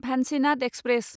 भान्चिनाद express